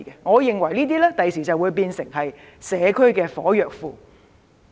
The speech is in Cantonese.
我認為這些地方將來會變成社區的"火藥庫"。